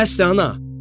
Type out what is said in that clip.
Bəsdir, ana!